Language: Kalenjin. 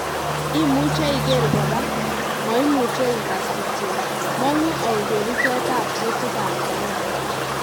Imuche iger kora; maimeuche igas kityo , mang'u au kerichot ab kutiik ab corona